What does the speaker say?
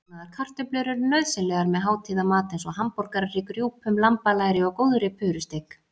Brúnaðar kartöflur eru nauðsynlegar með hátíðamat eins og hamborgarhrygg, rjúpum, lambalæri og góðri purusteik.